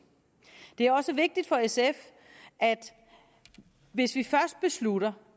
det er også vigtigt for sf at hvis vi først beslutter